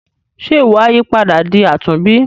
Ṣe iwọ a yípadà di àtúnbí.